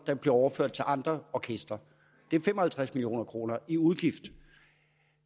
der bliver overført til andre orkestre det er fem og halvtreds million kroner i udgift